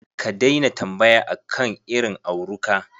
Ka daina tambaya akan irin auruka.